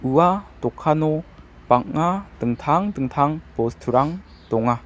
ua dokano bang·a dingtang dingtang bosturang donga.